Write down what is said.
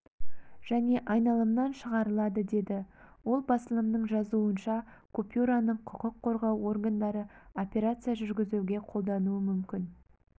және айналымнан шығарылады деді ол басылымның жазуынша купюраны құқық қорғау органдары операция жүргізуге қолдануы мүмкін